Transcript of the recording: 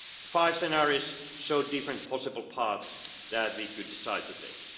ahead. Five scenarios show different possible paths that we could decide